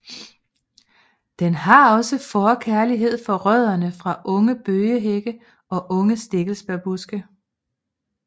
Den har også forkærlighed for rødderne fra unge bøgehække og unge stikkelsbærbuske